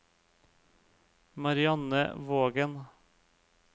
Marianne Vågen